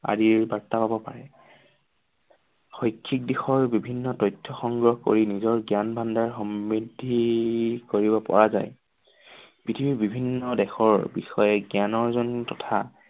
আদিৰ বাৰ্তা লব পাৰে। শৈক্ষিক দিশৰ বিভিন্ন তথ্য সংগ্ৰহ কৰি নিজৰ জ্ঞান ভাণ্ডাৰ সমৃদ্ধি কৰিব পৰা যায়। পৃথিৱীৰ বিভিন্ন দেশৰ বিষয়ে জ্ঞান অৰ্জন তথা আদিৰ বাৰ্তা লব পাৰে।